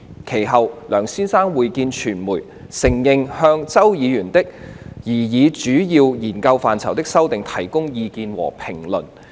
其後，梁先生會見傳媒，承認他曾就周議員提交的擬議主要研究範疇修訂本提供意見和評論。